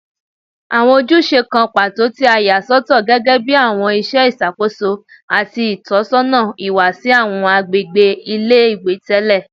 Awọn ojuse kan pato ti a sọtọ gẹgẹbi awọn iṣẹ iṣakoso ati itọsọna iwa si awọn agbegbe ile-iwe tẹlẹ